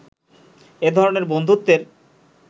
এ ধরনের বন্ধুত্বের